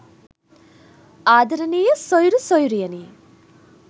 ආදරණීය සොයුරු සොයුරියනි